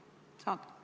Kas saad?